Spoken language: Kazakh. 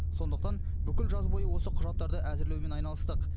сондықтан бүкіл жаз бойы осы құжаттарды әзірлеумен айналыстық